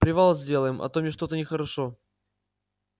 привал сделаем а то мне что-то нехорошо